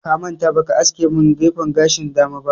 Ka manta ba ka aske min gefen gashin dama ba